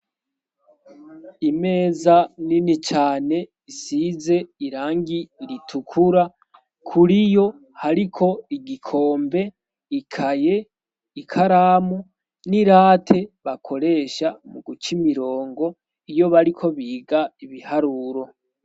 Imeza nini cane isize irangi ritukura kuri yo hariko igikombe ikaye i karamu n'irate bakoresha mu guca imirongo iyo bariko biga ibiharuro.